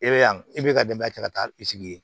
E bɛ yan e bɛ ka denbaya ta ka taa i sigi yen